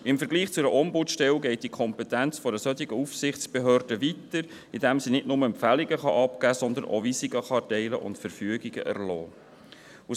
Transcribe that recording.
Im Vergleich zu einer Ombudsstelle geht die Kompetenz einer solchen Aufsichtsbehörde weiter, indem sie nicht nur Empfehlungen abgeben, sondern auch Weisungen erteilen und Verfügungen erlassen kann.